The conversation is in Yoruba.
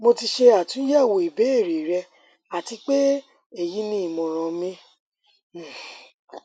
mo ti ṣe atunyẹwo ibeere rẹ ati pe eyi ni imọran mi um